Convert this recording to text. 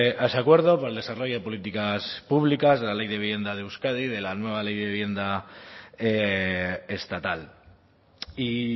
a ese acuerdo por el desarrollo de políticas públicas de la ley de vivienda de euskadi de la nueva ley de vivienda estatal y